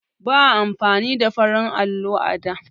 Ba a amfani da farar allo ba da.